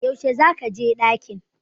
Yaushe za ka je ɗaki?